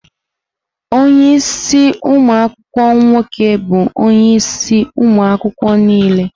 ọnye isi umu akwukwuo nwoke bụ onye isi ụmụ akwụkwọ niile.